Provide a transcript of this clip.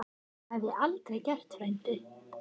Það hef ég aldrei gert, frændi